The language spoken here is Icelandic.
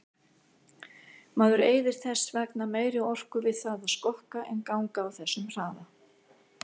Maður eyðir þess vegna meiri orku við það að skokka en ganga á þessum hraða.